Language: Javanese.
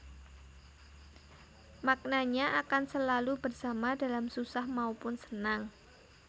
Maknanya akan selalu bersama dalam susah maupun senang